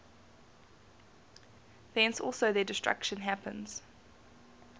thence also their destruction happens